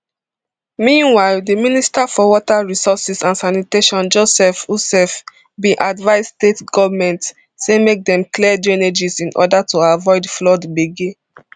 meanwhile di minister for water resources and sanitation joseph utsev bin advise state goment say make dem clear drainages in order to avoid flood gbege